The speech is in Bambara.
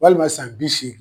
Walima san bi segin.